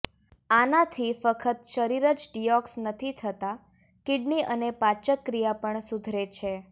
આનાથી ફક્ત શરીર જ ડિયોક્સ નથી થતા કિડની અને પાચક ક્રિયા પણ સુધરે છે